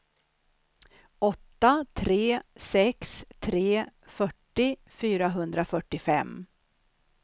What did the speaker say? åtta tre sex tre fyrtio fyrahundrafyrtiofem